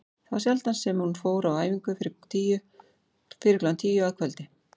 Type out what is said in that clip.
Það var sjaldan sem hún fór á æfingu fyrir klukkan tíu að kvöldi.